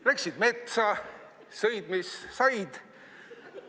Läksid metsa ja sõid, mis said.